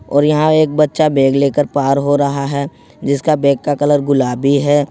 और यहां एक बच्चा बैग लेकर पार हो रहा है जिसका बैग का कलर गुलाबी है।